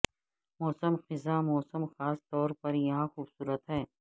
موسم خزاں موسم خاص طور پر یہاں خوبصورت ہے